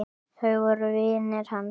Þau voru vinir hans.